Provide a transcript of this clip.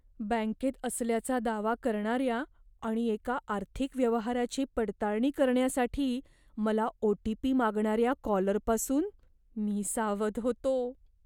बँकेत असल्याचा दावा करणाऱ्या आणि एका आर्थिक व्यवहाराची पडताळणी करण्यासाठी मला ओ. टी. पी. मागणाऱ्या कॉलरपासून मी सावध होतो.